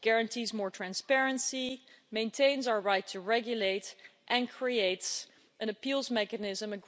It guarantees more transparency, maintains our right to regulate and creates an appeals mechanism